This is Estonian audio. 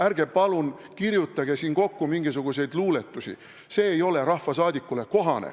Ärge palun kirjutage siin kokku mingisuguseid luuletusi, see ei ole rahvasaadikule kohane.